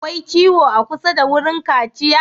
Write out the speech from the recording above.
Akwai ciwo a kusa da wurin kaciya?